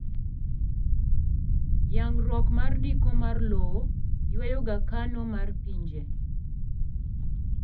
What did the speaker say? yangruok mar ndiko mar lowo ywayoga kano mar pinje